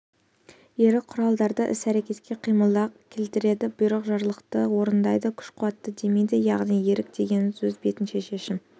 ерік құралдарды іс-әрекетке қимылға келтіреді бұйрық жарлықты орындайды күш-қуатты демейді яғни ерік дегеніміз өз бетінше шешім